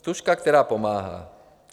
Stužka, která pomáhá.